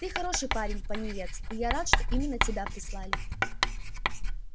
ты хороший парень пониетс и я рад что именно тебя прислали